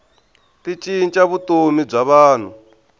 ti cinca vutomi bya vanhu